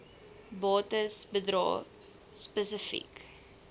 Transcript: bates bedrae spesifiek